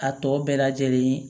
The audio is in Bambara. A tɔ bɛɛ lajɛlen